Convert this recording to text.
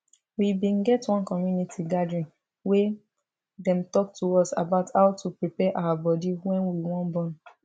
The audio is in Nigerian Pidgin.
we bin get one community gathering wey dem talk to us about how to prepare our body when we wan born